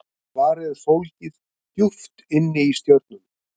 Svarið er fólgið djúpt inni í stjörnunum.